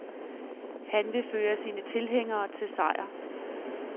Han vil føre sine tilhængere til sejr.